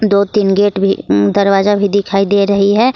दो तीन गेट भी अम दरवाजा भी दिखाई दे रही है।